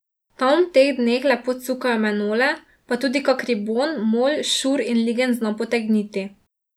Tam v teh dneh lepo cukajo menole pa tudi kak ribon, mol, šur in ligenj zna potegniti.